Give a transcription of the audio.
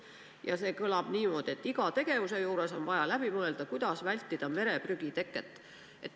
Ja see kõlab niimoodi, et iga tegevuse juures on vaja läbi mõelda, kuidas vältida mereprügi teket.